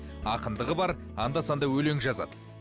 ақындығы бар анда санда өлең жазады